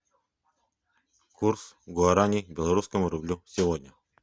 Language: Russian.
курс гуарани к белорусскому рублю сегодня